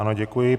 Ano, děkuji.